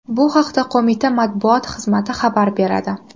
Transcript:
Bu haqda qo‘mita matbuot xizmati xabar beradi.